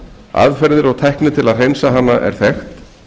aðferðir og tækni til að hreinsa hana er þekkt